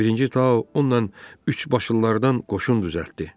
Birinci Tao ondan üçbaşlılardan qoşun düzəltdi.